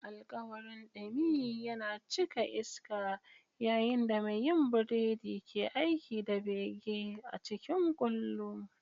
Alkawarin dumi yana cika iska yayin da mai yin burodi ke aiki da bege a cikin kullu.